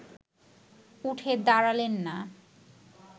উঠে দাঁড়ালেন না